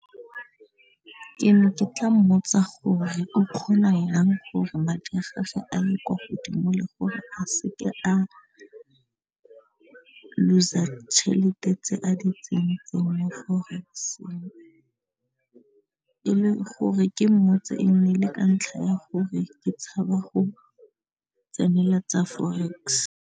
Ke ne ke tla mmotsa gore o kgona yang gore madi a gagwe a ye kwa godimo le gore a se ke a looser tšhelete tse a di tsentseng mo forex-ng e leng gore ke mmotse e nnile ka ntlha ya gore ke tshaba go tsenela tsa forex.